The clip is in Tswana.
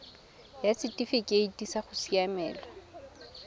ya setifikeite sa go siamela